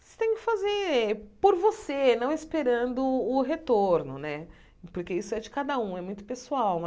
Você tem que fazer por você, não esperando o retorno né, porque isso é de cada um, é muito pessoal.